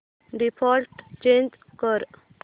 default change कर